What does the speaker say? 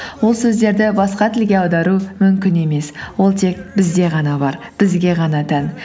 ол сөздерді басқа тілге аудару мүмкін емес ол тек бізде ғана бар бізге ғана тән